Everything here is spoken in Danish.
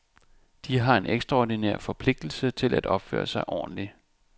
De har en ekstraordinær forpligtelse til at opføre sig ordentligt.